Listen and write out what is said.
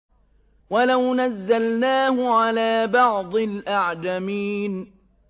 وَلَوْ نَزَّلْنَاهُ عَلَىٰ بَعْضِ الْأَعْجَمِينَ